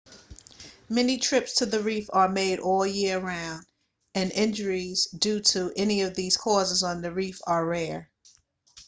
many trips to the reef are made all year around and injuries due to any of these causes on the reef are rare